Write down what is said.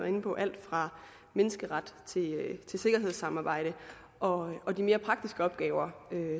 inde på alt fra menneskerettigheder til sikkerhedssamarbejde og og de mere praktiske opgaver